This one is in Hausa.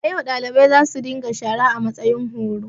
Da ga yau, dalibai za su dinga shara a matsayin horo.